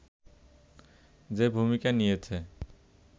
যে ভূমিকা নিয়েছে